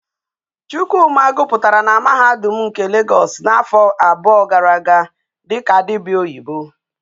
Chukwuma goputara na mahadum nke Lagos na afo abuo gara aga diko dibia oyibo